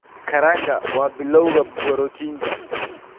Karanga waa bilawga borotiinka.